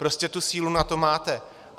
Prostě tu sílu na to máte.